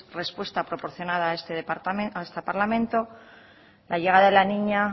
respuesta proporcionada a este parlamento la llegada de la niña